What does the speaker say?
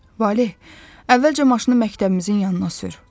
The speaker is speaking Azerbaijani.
Valeh, əvvəlcə maşını məktəbimizin yanına sür.